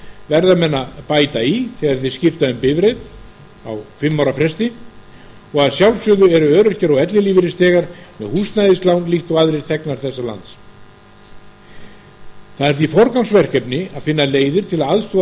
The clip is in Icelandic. menn að bæta í þegar þeir skipta um bifreið á fimm ára fresti og að sjálfsögðu eru elli og örorkulífeyrisþegar með húsnæðislán líkt og aðrir þegnar þessa lands það er því forgangsverkefni að finna leiðir til